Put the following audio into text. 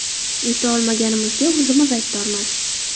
Yuta olmaganimizga o‘zimiz aybdormiz.